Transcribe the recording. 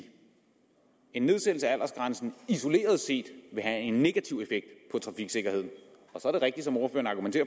en nedsættelse af aldersgrænsen isoleret set ville have en negativ og så er det rigtigt som ordføreren